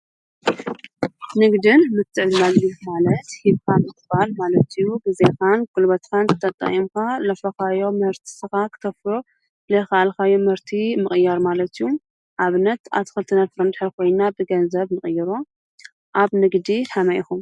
ንግድን ምትዕድዳግን ማለት ሂብካ ምቅባል ማለት እዩ። ብግዚኡ ግዜካን ጉልበትካን ተጠቂምካ ዘፍረካዮም ምህርትታት ክተፍርዮ ዘይከኣልካዮ ምህርቲ ምቅያር ማለት እዩ። ንኣብነት ኣትክልትን ፍራምረን እንድሕር ኮይና ብገንዘብ ንቅይሮ። ኣብ ንግዲ ከመይ ኢኹም?